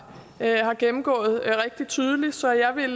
har gennemgået meget tydeligt så jeg vil